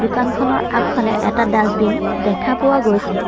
দোকানখনৰ আগফালে এটা ডাচবিন দেখা পোৱা গৈছে।